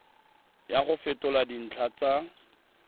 ya go fetola dintlha tsa